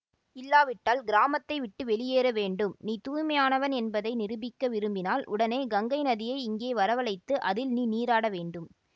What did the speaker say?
இல்லாவிட்டால் கிராமத்தை விட்டு வெளியேற வேண்டும் நீ தூய்மையானவன் என்பதை நிரூபிக்க விரும்பினால் உடனே கங்கை நதியை இங்கே வரவழைத்து அதில் நீ நீராட வேண்டும்